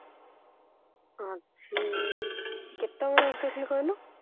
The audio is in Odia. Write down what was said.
ଅଛି କେତେବେଳେ exactly କହିଲ